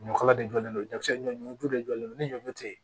Ɲɔkala de jɔlen don ɲɔkisɛ ɲɔju de jɔlen don ni ɲɔ tɛ yen